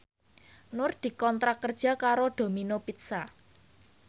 Nur dikontrak kerja karo Domino Pizza